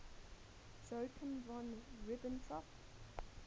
joachim von ribbentrop